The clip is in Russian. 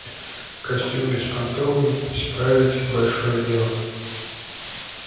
костюм безпонтовый справить большое дело